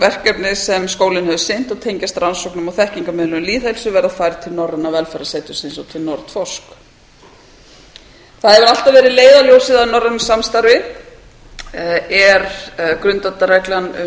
verkefnið sem skólinn hefur sinnt og tengjast rannsóknum og þekkingarmiðlun lýðheilsu verða færð til norræna velferðarsetursins og til nordforsk það hefur alltaf verið leiðarljósið að norrænu samstarfi er grundvallarreglan um